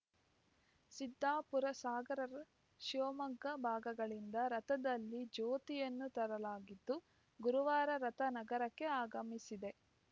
ಸಿದ್ದಾಪುರಸಾಗರ ಶಿವಮೊಗ್ಗ ಭಾಗಗಳಿಂದ ರಥದಲ್ಲಿ ಜ್ಯೋತಿಯನ್ನು ತರಲಾಗಿದ್ದು ಗುರುವಾರ ರಥ ನಗರಕ್ಕೆ ಆಗಮಿಸಿದೆ